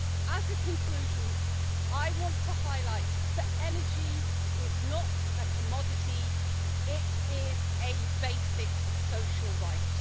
As a conclusion, I want to highlight that energy is not a commodity it is a basic social right.